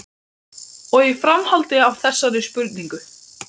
Og í framhaldi af þessari spurningu